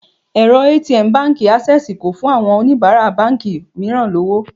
Èrọ ATM Báńkì Ásẹ́sìì kò fún àwọn oníbàárà báńkì mìíràn lọ́wọ́.